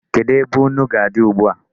Kedụ ebe nnu ga-adị ugbu a?